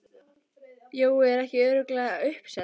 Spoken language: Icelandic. Jói, er ekki örugglega uppselt?